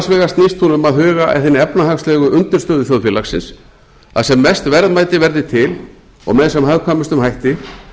snýst hún um að huga að hinni efnahagslegu undirstöðu þjóðfélagsins að sem mest verðmæti verði til og með sem hagkvæmustum hætti